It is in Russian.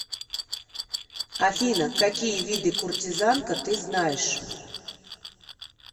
афина какие виды куртизанка ты знаешь